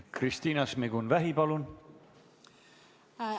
Kristina Šmigun-Vähi, palun!